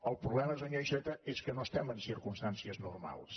el problema senyor iceta és que no estem en circumstàncies normals